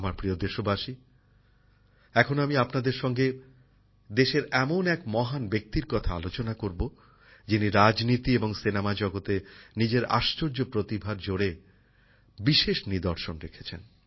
আমার প্রিয় দেশবাসী এখন আমি আপনাদের সঙ্গে দেশের এমন এক মহান ব্যক্তির কথা আলোচনা করব যিনি রাজনীতি এবং চলচ্চিত্র জগতে নিজের আশ্চর্য প্রতিভার জোরে বিশেষ নিদর্শন রেখেছেন